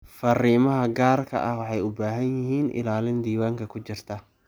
Fariimaha gaarka ah waxay u baahan yihiin ilaalin diiwaanka ku jirta.